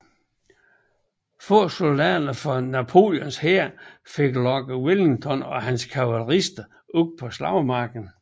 Få soldater fra Napoleons hær fik lokket Wellington og hans kavalerister ud på slagmarken